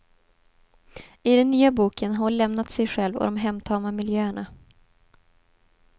I den nya boken har hon lämnat sig själv och de hemtama miljöerna.